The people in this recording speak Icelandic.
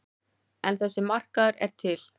En þessi markaður er til.